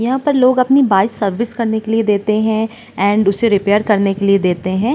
यहाँ पर लोग अपनी बाइक सर्विस करने के लिए देते है एंड उसे रिपेयर करने के लिए देते हैं।